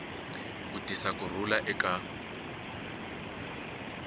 ku tisa ku rhula eka